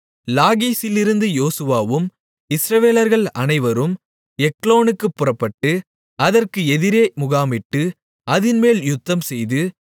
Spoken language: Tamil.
லாகீசிலிருந்து யோசுவாவும் இஸ்ரவேலர்கள் அனைவரும் எக்லோனுக்குப் புறப்பட்டு அதற்கு எதிரே முகாமிட்டு அதின்மேல் யுத்தம்செய்து